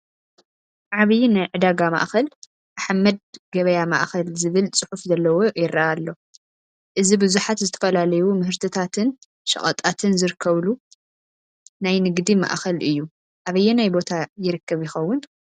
ዓብይ ናይ ዕዳጋ ማአኸል ኣሕመድ ገበያ ማእኸል ዝብል ፅሑፍ ዘለዎ ይረአ ኣሎ፡፡ እዚ ብዙሓት ዝተፈላለዩ ምህርትታትን ሸቐጣትን ዝርከበሉ ናይ ንግዲ ማእኸል እዩ፡፡ ኣበየናይ ቦታ ይርከብ ይኸውን?